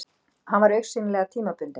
Hann var augsýnilega tímabundinn.